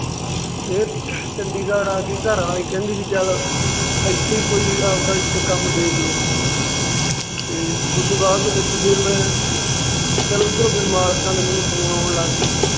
ਫਿਰ ਚੰਡੀਗੜ੍ਹ ਆਕੇ ਘਰਵਾਲੀ ਕਹਿੰਦੀ ਵੀ ਚੱਲ ਇੱਥੇ ਹੀ ਕੋਈ ਆਪਦਾ ਇੱਥੇ ਕੰਮ ਦੇਖ ਲੋ। ਤੇ ਉਸ ਤੋਂ ਬਾਅਦ ਦੇ ਵਿੱਚ ਮੈ ਚੱਲ ਓਧਰੋਂ ਮਾਲਕਾਂ ਦੇ ਮੈਨੂੰ phone ਆਉਣ ਲੱਗ ਗਏ।